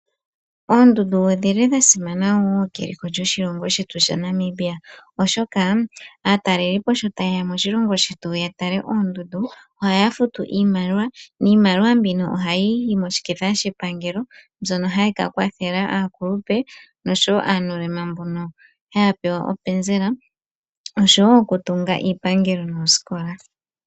Oondundu odhi li dha simana wo keliko lyoshilongo shetu shaNamibia, oshoka aatalelipo sho taye ya moshilongo shetu ya tale oondundu ohaya futu iimaliwa. Niimaliwa mbino ohayi yi moshiketha shepangelo mbyono hayi ka kwathela aakulupe nosho wo aanuulema mbono haya pewa openzela nosho wo okutunga iipangelo noosikola.